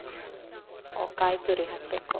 ಓ, ಕಾಯಿ ತುರಿ ಹಾಕ್ಬೇಕು.